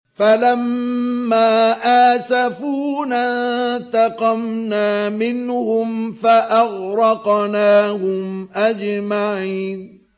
فَلَمَّا آسَفُونَا انتَقَمْنَا مِنْهُمْ فَأَغْرَقْنَاهُمْ أَجْمَعِينَ